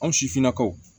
Anw sifinnakaw